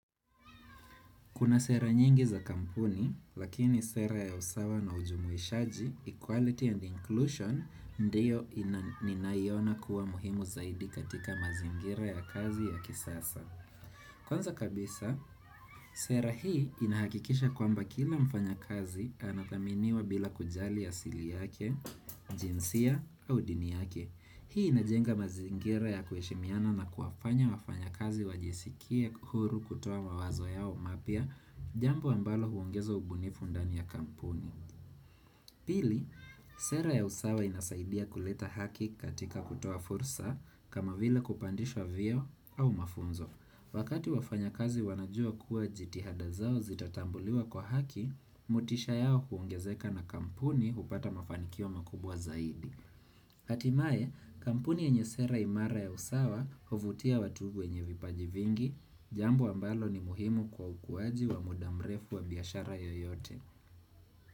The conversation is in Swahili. Kuna sera nyingi za kampuni, lakini sera ya usawa na ujumuishaji, equality and inclusion, ndiyo ninayoiona kuwa muhimu zaidi katika mazingira ya kazi ya kisasa. Kwanza kabisa, sera hii inahakikisha kwamba kila mfanya kazi anathaminiwa bila kujali asili yake, jinsia au dini yake. Hii inajenga mazingira ya kueshimiana na kuwafanya wafanya kazi wajisikie huru kutoa mawazo yao mapia, jambo ambalo huongezo ubunifu ndani ya kampuni. Pili, sera ya usawa inasaidia kuleta haki katika kutoa fursa kama vile kupandishwa vio au mafunzo. Wakati wafanya kazi wanajua kuwa jitihada zao zitatambuliwa kwa haki, motisha yao huongezeka na kampuni hupata mafanikio makubwa zaidi. Hatimaye kampuni yenye sera imara ya usawa huvutia watu enye vipaji vingi Jambo ambalo ni muhimu kwa ukuwaji wa mudamrefu wa biashara yoyote.